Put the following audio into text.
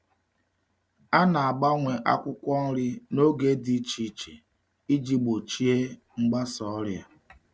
A na-agbanwe akwụkwọ nri n’oge dị iche iche iji gbochie mgbasa ọrịa.